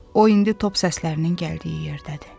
O indi top səslərinin gəldiyi yerdədir.